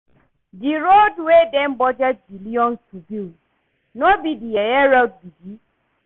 The road wey dem budget billions to build, no be the yeye road be dis?